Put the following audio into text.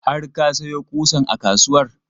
Har ka sayo ƙusan a kasuwar?